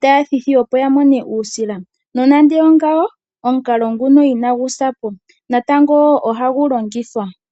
taya thitha opo ya mone uusila. Nonande oongawo omukalo nguno inagu sapo natango ohagu longithwa.